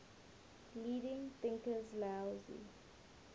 leading thinkers laozi